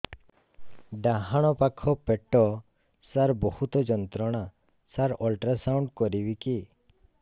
ଡାହାଣ ପାଖ ପେଟ ସାର ବହୁତ ଯନ୍ତ୍ରଣା ସାର ଅଲଟ୍ରାସାଉଣ୍ଡ କରିବି କି